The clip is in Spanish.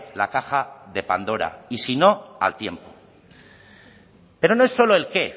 la caja de pandora y si no al tiempo pero no es solo el qué